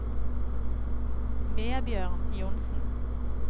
Vebjørn Johnsen